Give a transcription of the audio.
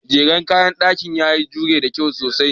Jeren kayan ɗakin ya jeru da kyau sosai.